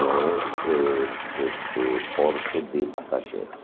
não é é este porto de passageiros.